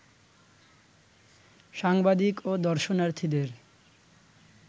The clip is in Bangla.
সাংবাদিক ও দর্শনার্থীদের